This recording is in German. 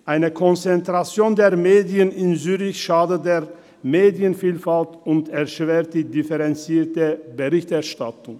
Eine Konzentration der Medien in Zürich schadet der Medienvielfalt und erschwert die differenzierte Berichterstattung.